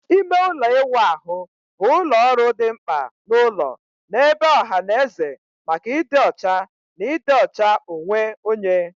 Ime ụlọ ịwụ ahụ bụ ụlọ ọrụ dị mkpa n'ụlọ na ebe ọha na eze maka ịdị ọcha na ịdị ọcha onwe onye.